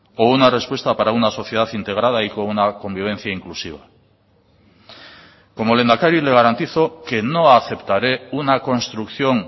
o una respuesta para una sociedad integrada y con una convivencia inclusiva como lehendakari le garantizo que no aceptaré una construcción